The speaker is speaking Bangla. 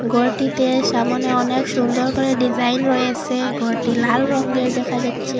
গরটিতে সামনে অনেক সুন্দর করে ডিজাইন রয়েসে গরটি লাল রঙের দেখা যাচ্চে।